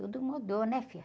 Tudo mudou, né, filho?